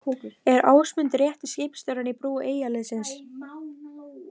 Er Ásmundur rétti skipstjórinn í brú Eyjaliðsins?